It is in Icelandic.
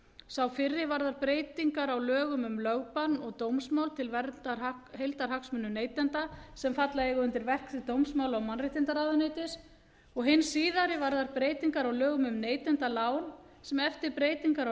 sá fyrri varðar breytingar á lögum um lögbann og dómsmál til verndar heildarhagsmunum neytenda sem falla eiga undir verksvið dómsmála og mannréttindaráðuneytis og hinn síðari varðar breytingar á lögum um neytendalán sem eftir breytingar á